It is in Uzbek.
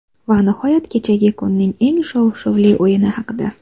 Va nihoyat kechagi kunning eng shov-shuvli o‘yini haqida.